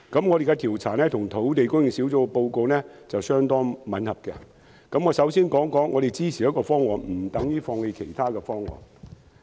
我們的調查結果與土地供應專責小組的報告相當吻合，但我首先想指出，我們支持一個方案，不等於放棄其他方案。